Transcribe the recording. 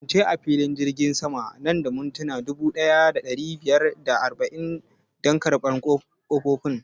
Ka kasance a filin jirgin sama nan da mintuna dubu ɗaya da ɗari biyar da arba'in dan karɓan ƙofofin